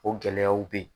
O gɛlɛyaw bɛ ye